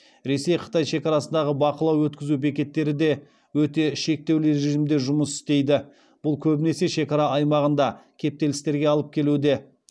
ресей қытай шекарасындағы бақылау өткізу бекеттері де өте шектеулі режимде жұмыс істейді бұл көбінесе шекара аймағында кептелістерге алып келуде